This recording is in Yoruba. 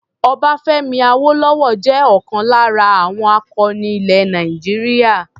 Ọbáfẹ́mi Awólọ́wọ̀ jẹ́ ọlkan lára àwọn akọni ilẹ̀ Nàìjíríà.